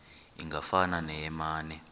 ingafana neye mane